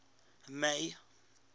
may